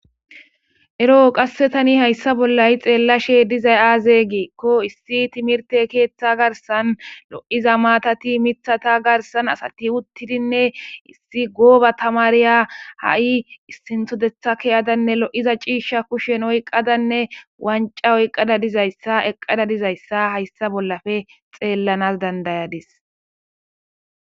Ero qasse tani hayssa bolla ha7i xeellashe dizay aaze giikko issi timirtte keeththa garssan lo7iza maatati mithata garsan asati uttidinne issi gooba tamaariya ha7i issintho deetha ke7adanne kushen lo7iza c'iishsha oykkadawanccaoykada dizayssa hayssan xeellana danda7ayssi.